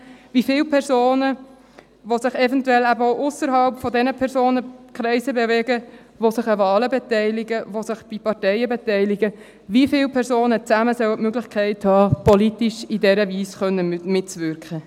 Wie viele Personen, die sich eventuell auch ausserhalb jener Personenkreise bewegen, die sich an Wahlen und bei Parteien beteiligen, wie viele Personen sollen zusammen die Möglichkeit haben, politisch in dieser Weise mitzuwirken?